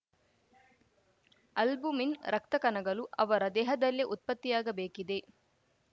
albumin ರಕ್ತ ಕಣಗಳು ಅವರ ದೇಹದಲ್ಲೇ ಉತ್ಪತ್ತಿಯಾಗಬೇಕಿದೆ